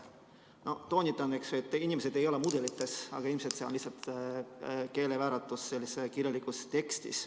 Ma küll toonitan, et inimesed ei ela mudelites, aga ilmselt see on lihtsalt keelevääratus kirjalikus tekstis.